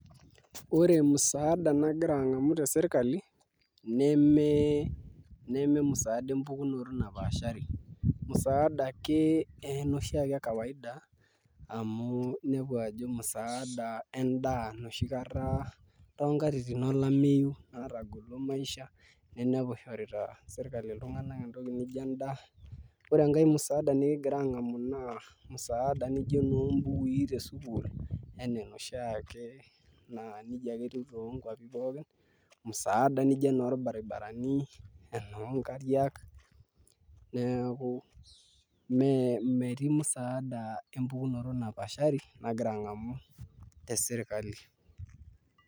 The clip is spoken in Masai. Ore musaada nagira ang'amu tesirkali nememusaada empukunoto napaashari musaada ake enoshi ekawaida amu inepu ajo musaada endaa enoshi kata toonkatitin olameyu natagolo maisha nadamu ishorita sirkali iltung'anak musaada nijio endaa Ore musaada nikigira ang'amu naa musaada nijio enoombukui tesukuul enaa enoshi ake naa nijia ake etiu toonkuapi pookin musaada nijio enorbaribarani enoonkariak neeku metii musaada empukunoto napaashari nagira ang'amu te sirkali.